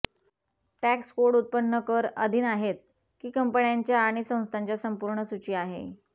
tax code उत्पन्न कर अधीन आहेत की कंपन्यांच्या आणि संस्थांच्या संपूर्ण सूची आहे